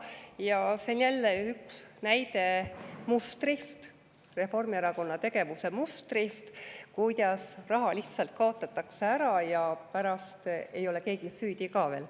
Ja see on jälle üks näide mustrist, Reformierakonna tegevuse mustrist, kuidas raha lihtsalt kaotatakse ära ja pärast ei ole keegi süüdi ka veel.